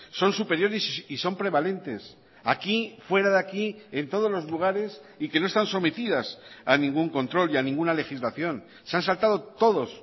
son superiores y son prevalentes aquí fuera de aquí en todos los lugares y que no están sometidas a ningún control y a ninguna legislación se han saltado todos